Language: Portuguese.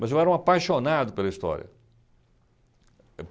Mas eu era um apaixonado pela história.